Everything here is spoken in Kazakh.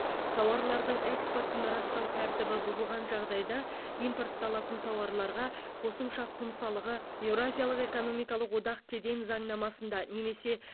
тауарлардың экспортын растау тәртібі бұзылған жағдайда импортталатын тауарларға қосымша құн салығы еуразиялық экономикалық одақ кеден заңнамасында немесе